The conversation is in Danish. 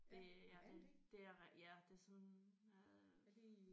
Det ja det det er ja det er sådan øh